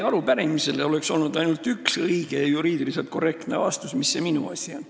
Arupärimisele oleks olnud ainult üks õige ja juriidiliselt korrektne vastus: mis see minu asi on.